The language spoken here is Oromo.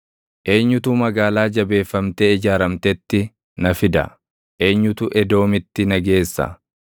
Eenyutu magaalaa jabeeffamtee ijaaramtetti na fida? Eenyutu Edoomitti na geessa?